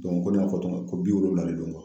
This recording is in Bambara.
ko ne y'a fɔ cogo min na, ko bi wolonwula de don